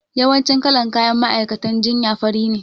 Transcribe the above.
Yawancin kalan kayan ma'aikatan jinya fari ne